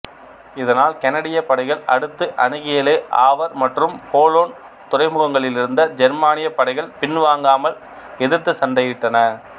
இதனால் கனடியப் படைகள் அடுத்து அணுகிய லே ஆவர் மற்றும் போலோன் துறைமுகங்களிலிருந்த ஜெர்மானியப் படைகள் பின்வாங்காமல எதிர்த்து சண்டையிட்டன